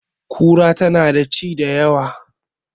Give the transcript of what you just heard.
Kura tana da ci da yawa